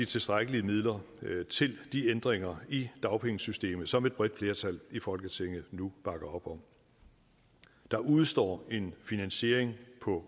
tilstrækkelige midler til de ændringer i dagpengesystemet som et bredt flertal i folketinget nu bakker op om der udestår en finansiering på